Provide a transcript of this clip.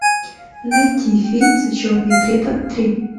найти фильм зачетный препод три